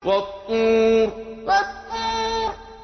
وَالطُّورِ وَالطُّورِ